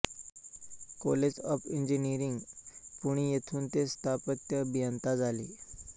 college of engineering Pune येथून ते स्थापत्य अभियंता झाले